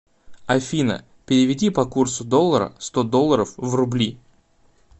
афина переведи по курсу доллара сто долларов в рубли